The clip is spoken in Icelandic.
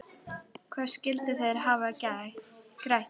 Hvað skyldu þeir hafa grætt?